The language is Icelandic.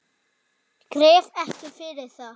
Gref ekki yfir það.